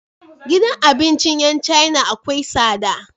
Gidan abincin yan china akwai tsada